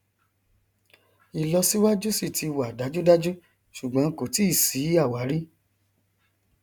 ìlọsíwájú sì ti wà dájúdájú ṣùgbọn kò tíì sí àwárí